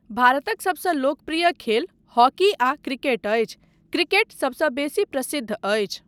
भारतक सबसँ लोकप्रिय खेल हॉकी आ क्रिकेट अछि, क्रिकेट सबसँ बेसी प्रसिद्ध अछि।